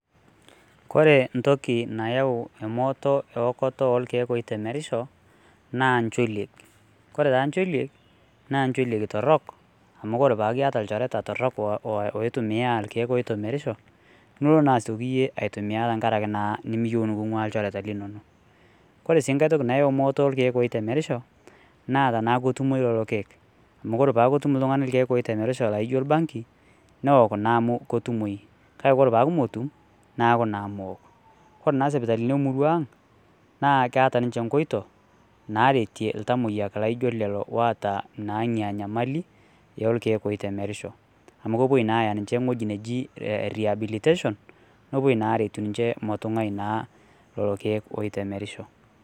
Kore entoki nayau emooto ewokoto oorkiek oitemerisho naa ncholiek .ore taa ncholiek naa ncholieki torok amu ore paaku iyata ilchoreta torok oitumiya irkieek oitemerisho nilo naa yie asioki aitumia te nkaraki naa nimiyieu nikungwaa ilchoreta linonok. Kore si enkae toki nayau mmooto oorkiek oitemerisho naa tenaaku ketumoyu lelo kiek . Amu ore peaku itum iltungani irkieek loitemerisho laijo orbangi, neok naa amu ketumoyu. kake ore peaku metum neaku naa meok. Ore naa sipitalini emurua Ang naa keeta ninche nkoitoi natetie iltamoyiak laijo lelo looata naa Ina nyamali oorkiek oitemerisho.